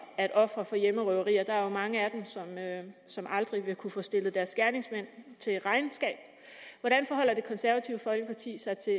ofre for hjemmerøverier for der er mange af dem som aldrig vil kunne få stillet deres gerningsmænd til regnskab hvordan forholder det konservative folkeparti sig til